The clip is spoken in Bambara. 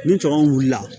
Ni tɔɔrɔ wulila